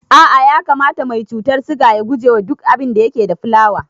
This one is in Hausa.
A'a ya kamata mai cutar siga ya gujewa duk abinda yake da fulawa